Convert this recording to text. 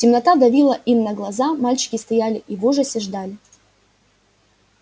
темнота давила им на глаза мальчики стояли и в ужасе ждали